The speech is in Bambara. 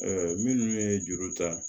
minnu ye juru ta